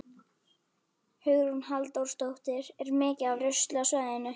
Hugrún Halldórsdóttir: Er mikið af rusli á svæðinu?